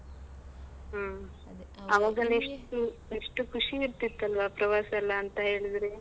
ಹ್ಮ್. ಅವಾಗ ಎಷ್ಟು ಎಷ್ಟು ಖುಷಿ ಇರ್ತಿತ್ತಲ್ವಾ ಪ್ರವಾಸಯೆಲ್ಲಾ ಅಂತ ಹೇಳಿದ್ರೆ.